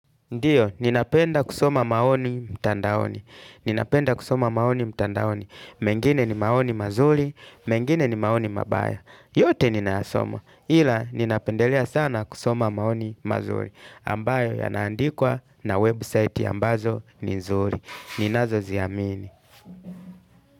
Ndiyo, ninapenda kusoma maoni mtandaoni. Ninapenda kusoma maoni mtandaoni. Mengine ni maoni mazuri, mengine ni maoni mabaya. Yote ninayasoma. Ila, ninapendelea sana kusoma maoni mazuri. Ambayo yanaandikwa na website ambazo ni nzuri. Ninazoziamini.